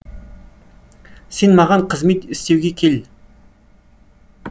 сен маған қызмет істеуге кел